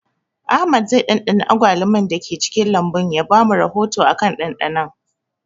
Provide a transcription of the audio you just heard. Ahmad zai ɗanɗana agwaluman da ke cikin lambun ya ba mu rahoto akan ɗanɗanon